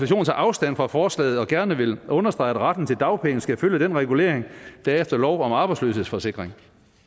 tager afstand fra forslaget og gerne vil understrege at retten til dagpenge skal følge den regulering der er efter lov om arbejdsløshedsforsikring